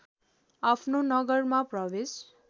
आफ्नो नगरमा प्रवेश